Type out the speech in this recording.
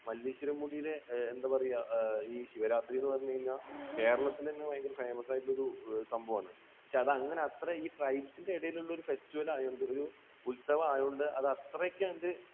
മല്ലേശ്വരം മുടിയിലെ, എന്താ പറയുക, ഈ ശിവരാത്രി എന്ന് പറഞ്ഞു കഴിഞ്ഞാൽ കേരളത്തിൽ തന്നെ ഭയങ്കര famous ആയിട്ടുള്ള ഒരു സംഭവമാണ്. പക്ഷേ അത് അങ്ങനെ അത്ര ഈ tribes ന്റെ ഇടയിലുള്ള ഒരു festival ആയതുകൊണ്ട്, ഉത്സവം ആയതുകൊണ്ട് അത്രയ്ക്ക് അങ്ങോട്ട്